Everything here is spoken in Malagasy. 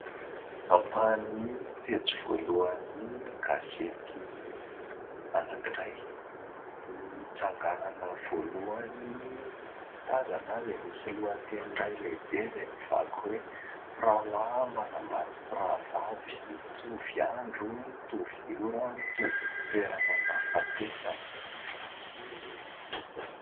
Ampahan'ny pejy voalohany gazety anankiray. Ny tsanganana voalohany tazana dia misy lohateny iray lehibe izay mivaky hoe : "mpirahalahy manambady mpirahavavy, nitovy andro, nitovy ora, nitovy ny toerana nahafatesana".